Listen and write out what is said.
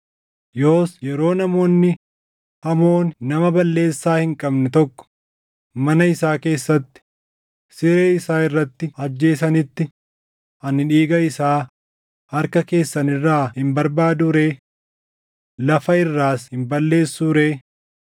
Yoos yeroo namoonni hamooni nama balleessaa hin qabne tokko mana isaa keessatti, siree isaa irratti ajjeesanitti ani dhiiga isaa harka keessan irraa hin barbaaduu ree? Lafa irraas hin balleessuu ree?”